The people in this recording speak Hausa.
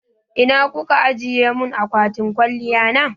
Ina kuka ajiye mun akwatin kwaliya na?